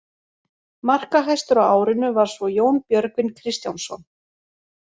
Markahæstur á árinu var svo Jón Björgvin Kristjánsson.